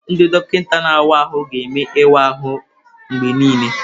Ndị dọkịta na-awa ahụ ga-eme ịwa ahụ mgbe niile.